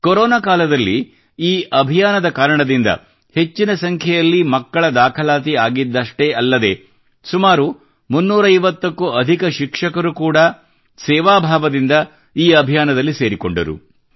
corona ಕಾಲದಲ್ಲಿ ಈ ಅಭಿಯಾನದ ಕಾರಣದಿಂದ ಹೆಚ್ಚಿನ ಸಂಖ್ಯೆಯಲ್ಲಿ ಮಕ್ಕಳ ದಾಖಲಾತಿ ಆಗಿದ್ದಷೆ್ಟೀ ಅಲ್ಲದೆ ಸುಮಾರು 350 ಕ್ಕೂ ಅಧಿಕ ಶಿಕ್ಷಕರು ಕೂಡ ಸೇವಾ ಭಾವದಿಂದ ಈ ಅಭಿಯಾನದಲ್ಲಿ ಸೇರಿಕೊಂಡರು